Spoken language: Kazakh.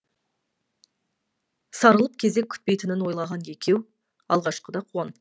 сарылып кезек күтпейтінін ойлаған екеу алғашқыда қуанып кетті